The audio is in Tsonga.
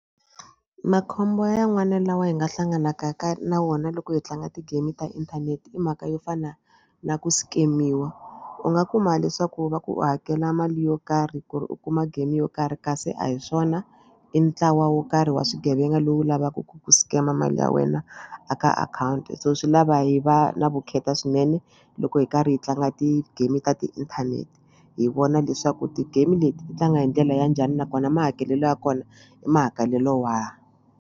Makhombo yan'wana lawa hi nga hlanganaka ka na wona loko hi tlanga ti-game ta inthanete i mhaka yo fana na ku scam-iwa u nga kuma leswaku va ku u hakela mali yo karhi ku ri u kuma game yo karhi kasi a hi swona i ntlawa wo karhi wa swigevenga lowu lavaka ku ku scam mali ya wena a ka akhawunti so swi lava hi va na vukheta swinene loko hi karhi hi tlanga ti-game ta tiinthanete hi vona leswaku ti-game leti ti tlanga hi ndlela ya njhani nakona mahakelelo ya kona i mahakelelo wahi.